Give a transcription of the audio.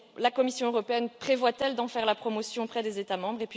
La Commission européenne prévoit elle d'en faire la promotion auprès des États membres?